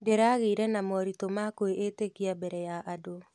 Ndĩragĩire moritũ ma kwĩĩtĩkia mbere ya andũ.